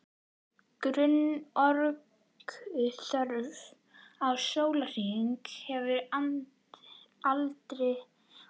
Grunnorkuþörf á sólarhring eftir aldri og kyni